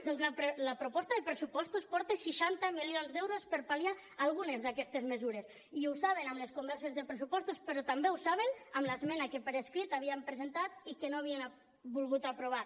doncs la proposta de pressupostos porta seixanta milions d’euros per pal·liar algunes d’aquestes mesures i ho saben amb les converses de pressupostos però també ho saben amb l’esmena que per escrit havíem presentat i que no havien volgut aprovar